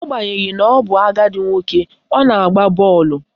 Agbanyeghi na ọ bụ agadi nwoke, ọ na-agba bọọlụ